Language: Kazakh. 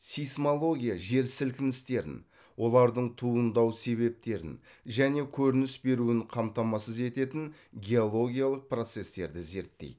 сейсмология жер сілкіністерін олардың туындау себептерін және көрініс беруін қамтамасыз ететін геологиялық процестерді зерттейді